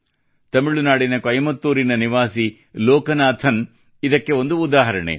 ತಮಿಳುನಾಡಿನ ಕೊಯಮಏತ್ತೂರಿನ ನಿವಾಸಿ ಲೋಕನಾಥನ್ ಅವರು ಇದಕ್ಕೆ ಒಂದು ಉದಾಹರಣೆ